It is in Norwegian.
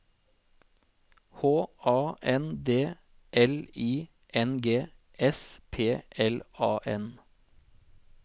H A N D L I N G S P L A N